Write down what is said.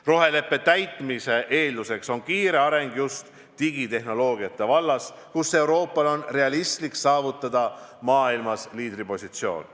Roheleppe täitmise eeldus on kiire areng just digitehnoloogia vallas, kus Euroopal on realistlik saavutada maailmas liidripositsioon.